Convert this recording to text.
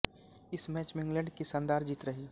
इस मैच में इंग्लैंड की शानदार जीत रही